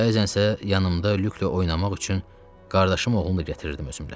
Bəzən isə yanımda Lükklə oynamaq üçün qardaşım oğlunu da gətirirdim özümlə.